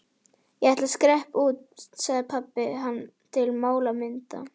Ég ætla að skreppa út, pabbi, sagði hann til málamynda.